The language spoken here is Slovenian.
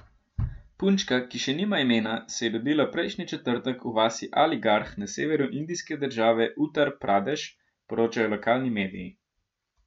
Punčka, ki še nima imena, se je rodila prejšnji četrtek v vasi Aligarh na severu indijske države Utar Pradeš, poročajo lokalni mediji.